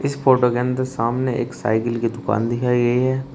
इस फोटो के अंदर सामने एक साइकिल की दुकान दिखाइए गई है।